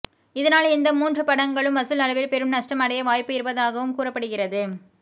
இதனால் இந்த மூன்று படங்களும் வசூல் அளவில் பெரும் நஷ்டம் அடைய வாய்ப்பு இருப்பதாகவும் கூறப்படுகிறது